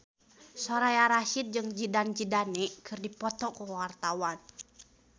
Soraya Rasyid jeung Zidane Zidane keur dipoto ku wartawan